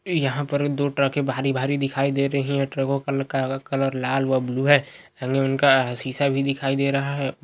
यहाँ पर दो ट्रकें भारी-भारी दिखाई दे रही हैं। ट्रकों -ल् का ल कलर लाल व ब्लू है। शीशा भी दिखाई दे रहा है।